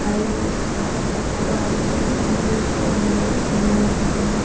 Highway spot அது பக்கம் right சைடுல டி_வி_எஸ் ஷோரூம் மாறி சின்னதா வெச்சிருக்காங்க.